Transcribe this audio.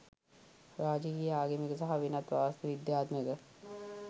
රාජකීය ආගමික සහ වෙනත් වාස්තු විද්‍යාත්මක